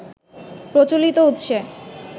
প্রচলতি উৎসে